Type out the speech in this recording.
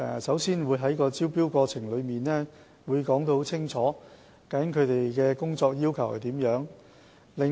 首先，我們在招標過程中清楚說明其工作要求。